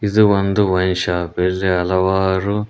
ಇದು ಒಂದು wine shop ಇಲ್ಲಿ ಹಲವಾರು--